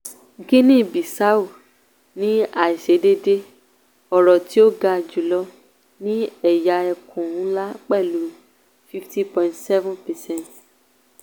guinea bissau ní àìsedéédéé ọrọ̀ tí ó ga jùlọ ní ẹ̀yà ẹkùn ńlá pẹ̀lú 50.7 percent.